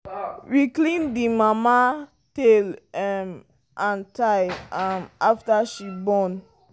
we clean the mama tail um and thigh um after she born